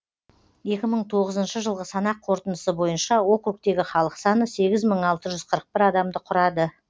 екі мың тоғызыншы жылғы санақ қорытындысы бойынша округтегі халық саны сегіз мың алты жүз қырық бір адамды құрады